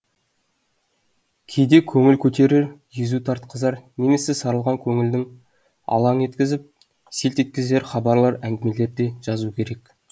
кейде көңіл көтерер езу тартқызар немесе сарылған көңілді алаң еткізіп селт еткізер хабарлар әңгімелер де жазу керек